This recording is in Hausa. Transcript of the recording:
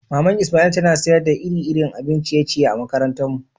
Mama'n lsmail tana sayar da iri-irin abin ciye-ciye a'makarantan mu.